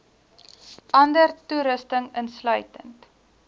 ander toerusting insluitend